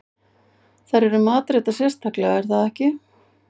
Þær eru matreiddar sérstaklega er það ekki?